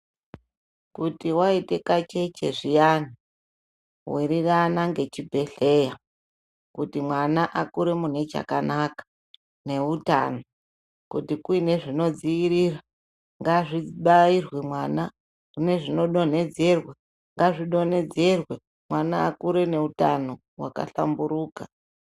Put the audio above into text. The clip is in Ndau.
Kuti waite kacheche zviyani, wirirana ngechibhedhleya, kuti mwana akure mune chakanaka, neutano. Kuti kuine zvinodziirira ngazvibairwe mwana, nezvinodonhedzerwa ngazvidonhedzerwe mwana akure ngeutano hwakahlamburuka.